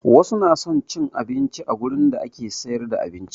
Wasu na son cin abinci a gurin da ake siyar da abinci